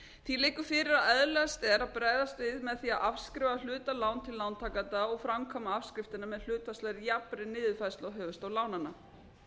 því liggur fyrir að eðlilegt er að bregðast við með því að afskrifa hluta láns til lántakenda og framkvæma afskriftirnar með hlutfallslegri jafnri niðurfærslu á höfuðstól lánanna